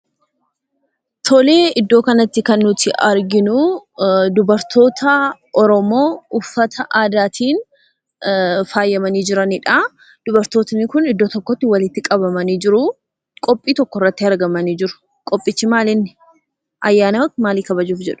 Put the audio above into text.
Tole iddoo kanatti kan nuti arginu dubartoota Oromoo uffata aadaatiin faayamanii jiranidha. Dubartoonni kun iddoo tokkotti walitti qabamanii jiru; qophii tokkorratti argamanii jiru. Qophichi maalinni? Ayyaana maalii kabajuuf jedhu?